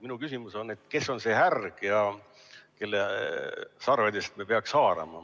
Mu küsimus on, kes on see härg, kelle sarvedest me peaksime haarama.